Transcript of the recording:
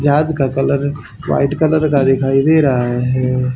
जहाज का colour white colour का दिखाई दे रहा है।